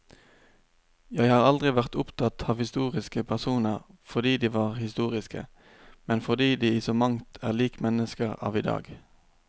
Jeg har aldri vært opptatt av historiske personer fordi de var historiske, men fordi de i så mangt er lik mennesker av i dag.